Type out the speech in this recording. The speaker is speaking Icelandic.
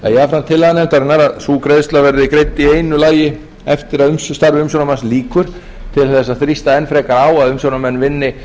það er jafnframt tillaga nefndarinnar að sú greiðsla verði greidd í einu lagi eftir að starfi umsjónarmanns lýkur til þess að rþusta enn frekar á að umsjónarmenn vinni